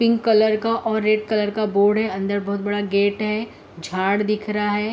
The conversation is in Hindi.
पिंक कलर का और रेड कलर का बोर्ड है। अंदर बोहोत बड़ा गेट है। झाड़ दिख रहा है।